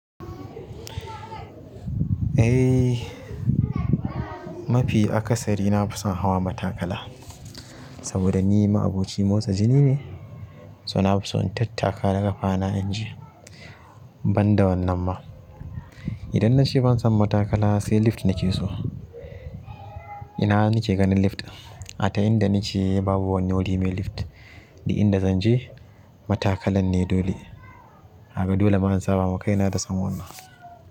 Eh mafi akasari na fison hawa matakala saboda ni ma'aboci motsa jini ne, so na fi son in tattaka da ƙafana inji, ban da wannan ma. Idan na ce ban son matakala sai lift nake so. Ina nake ganin lift ɗin a ta yadda na ke babu wani wuri mai lift duk inda zan je, matakalan ne dole. Kaga dole ma in saba makaina da son wannan.